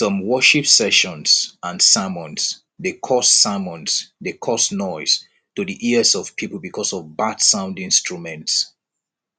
some worship sessions and sermons de cause sermons de cause noise to the ears of pipo because of bad sound instruments